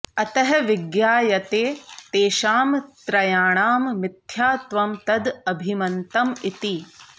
अतः विज्ञायते तेषां त्रयाणां मिथ्यात्वं तद् अभिमतं इति